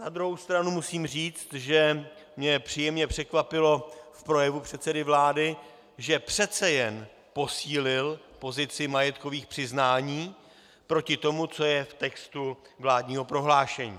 Na druhou stranu musím říct, že mě příjemně překvapilo v projevu předsedy vlády, že přece jen posílil pozici majetkových přiznání proti tomu, co je v textu vládního prohlášení.